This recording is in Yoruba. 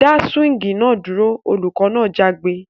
Dá swing náà dúro! olùkọ́ náà jágbe